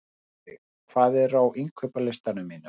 Ísveig, hvað er á innkaupalistanum mínum?